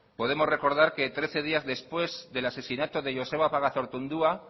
podemos recordar que trece días después del asesinato de joseba pagazaurtundua